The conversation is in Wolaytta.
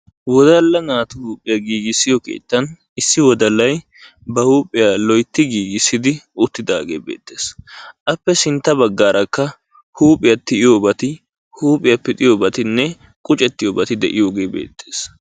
wodalla naatu huuphiya giigissiyo keettan issi wodallay ba huuphiya loytti giigisid uttidaage beettees. Appe sintta bagaarakka huuphiya tiyiyobati, huuphiya pixiyoobatinne quccettiyoobati de'iyoogee beetees.